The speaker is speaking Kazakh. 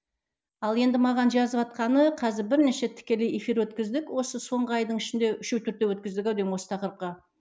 ал енді маған жазыватқаны қазір бірнеше тікелей эфир өткіздік осы соңғы айдың ішінде үшеу төртеу өткіздік ау деймін осы тақырыпқа